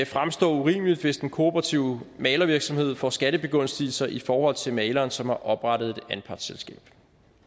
fremstå urimeligt hvis en kooperativ malervirksomhed får skattebegunstigelser i forhold til maleren som har oprettet et anpartsselskab